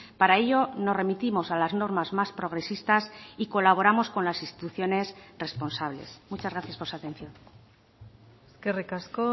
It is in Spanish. para ello nos remitimos a las normas más progresistas y colaboramos con las instituciones responsables muchas gracias por su atención eskerrik asko